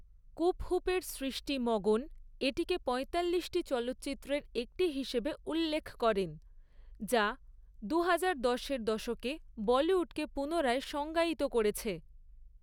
স্কুপহুপ এর সৃষ্টি মগন এটিকে পঁয়তাল্লিশটি চলচ্চিত্রের একটি হিসেবে উল্লেখ করেন, যা দুহাজারদশের দশকে বলিউডকে পুনরায় সংজ্ঞায়িত করেছে।